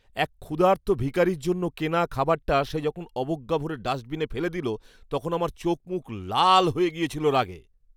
এক ক্ষুধার্ত ভিখারীর জন্য কেনা খাবারটা সে যখন অবজ্ঞাভরে ডাস্টবিনে ফেলে দিল, তখন আমার চোখমুখ লাল গিয়েছিল রাগে।